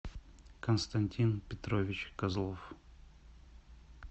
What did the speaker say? константин петрович козлов